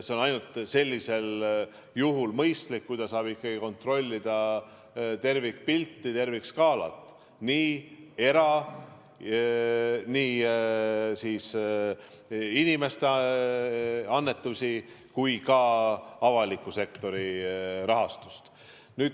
See on ainult sellisel juhul mõistlik, kui ta saab ikkagi kontrollida tervikpilti, tervikskaalat, nii inimeste annetusi kui ka avaliku sektori rahastust.